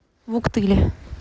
вуктыле